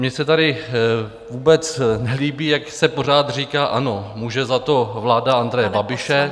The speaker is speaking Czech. Mně se tady vůbec nelíbí, jak se pořád říká: Ano, může za to vláda Andreje Babiše.